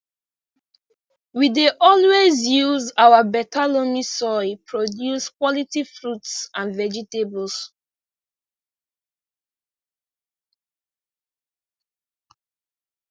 we dey always use our beta loamy soil produce quality fruits and vegetables